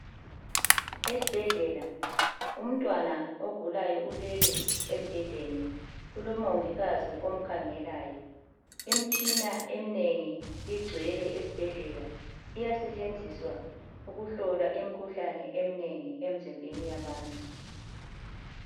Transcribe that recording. Esibhedlela, umntwana ogulayo ulele embhedeni, kulomongikazi omkhangelayo. Imtshina eminengi igcwele esibhedlela iyasetshenziswa ukuhlola imkhuhlane eminengi emzimbeni yabantu.